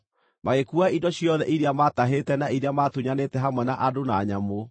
Magĩkuua indo ciothe iria maatahĩte na iria maatunyanĩte hamwe na andũ na nyamũ,